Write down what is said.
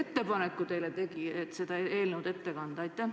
Kes tegi teile ettepaneku see eelnõu saalis ette kanda?